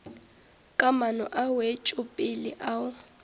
ka maano a wetšopele ao